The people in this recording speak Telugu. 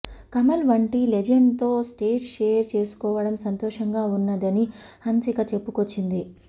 కమల్ వంటి లెజెండ్ తో స్టేజ్ షేర్ చేసుకోవడం సంతోషంగా ఉన్నదని హన్సిక చెప్పుకొచ్చింది